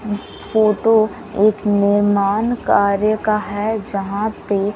photo एक नीरमान कार्य का है जहां पे --